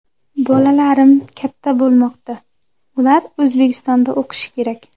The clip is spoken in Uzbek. Bolalarim katta bo‘lmoqda, ular O‘zbekistonda o‘qishi kerak.